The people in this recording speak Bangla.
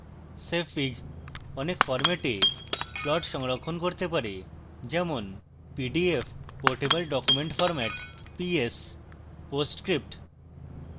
savefig অনেক ফরম্যাটে plot সংরক্ষণ করতে পারে যেমন